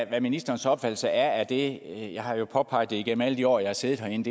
hvad ministerens opfattelse er af det helt jeg har påpeget i alle de år jeg har siddet herinde